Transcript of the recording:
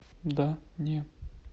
да не